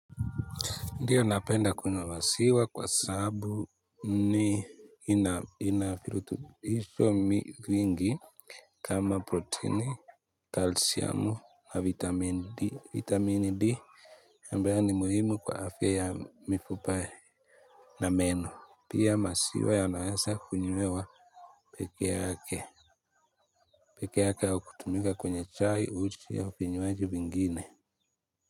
Ndiyo napenda kunywa masiwa kwa sabu ni inafilututisho mingi kama proteini, kalsyamu na vitamini D. Vitamini D ambayo ni muhimu kwa afya ya mifupa na meno. Pia masiwa yanaeza kunywewa peke yake. Peke yake wa kutumika kwenye chai uchi au finyuaji vingine.